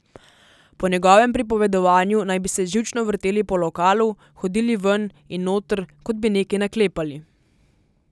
Po njegovem pripovedovanju naj bi se živčno vrteli po lokalu, hodili ven in noter, kot bi nekaj naklepali.